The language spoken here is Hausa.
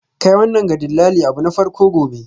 Kai wannan ga dillali abu na farko gobe.